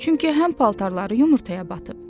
Çünki həm paltarları yumurtaya batıb.